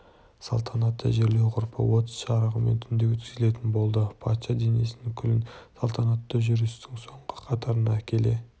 салтанатты жерлеу ғұрпы от жарығымен түнде өткізілетін болды патша денесінің күлін салтанатты жүрістің соңғы қатарында әкеле